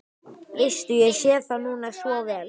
Veistu, ég sé það núna svo vel.